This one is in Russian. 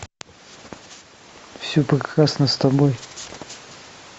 все прекрасно с тобой